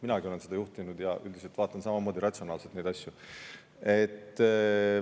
Minagi olen seda juhtinud ja üldiselt vaatan samamoodi ratsionaalselt neid asju.